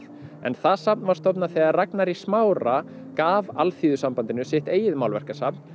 en það safn var stofnað þegar Ragnar í Smára gaf Alþýðusambandinu sitt eigið málverkasafn